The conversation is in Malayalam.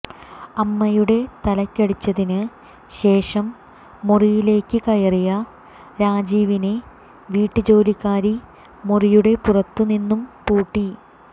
അമ്മയുടെ തലക്കടിച്ചതിന് ശേഷം മുറിയിലേക്ക് കയറിയ രാജീവിനെ വീട്ടുജോലിക്കാരി മുറിയുടെ പുറത്ത് നിന്നും പൂട്ടി